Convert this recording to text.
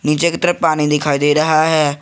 नीचे एक तरफ पानी दिखाई दे रहा है।